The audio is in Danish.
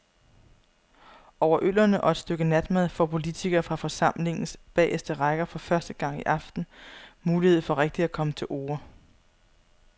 Over øllerne og et stykke natmad får politikere fra forsamlingens bageste række for første gang i aften mulighed for rigtig at komme til orde.